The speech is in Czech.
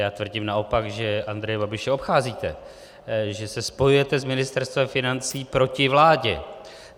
Já tvrdím naopak, že Andreje Babiše obcházíte, že se spojujete s Ministerstvem financí proti vládě.